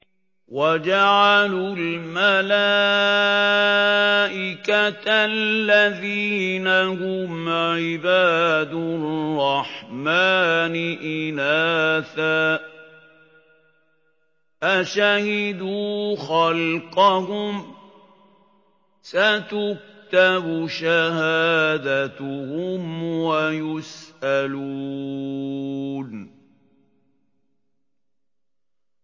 وَجَعَلُوا الْمَلَائِكَةَ الَّذِينَ هُمْ عِبَادُ الرَّحْمَٰنِ إِنَاثًا ۚ أَشَهِدُوا خَلْقَهُمْ ۚ سَتُكْتَبُ شَهَادَتُهُمْ وَيُسْأَلُونَ